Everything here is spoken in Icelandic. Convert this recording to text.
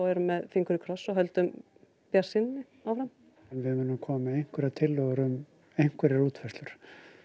erum með fingur í kross og höldum bjartsýninni áfram við munum koma með einhverjar tillögur um einhverjar útfærslur